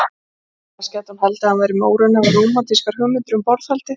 Annars gæti hún haldið að hann væri með óraunhæfar rómantískar hugmyndir um borðhaldið.